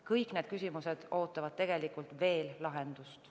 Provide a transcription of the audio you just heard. Kõik need küsimused ootavad tegelikult veel lahendamist.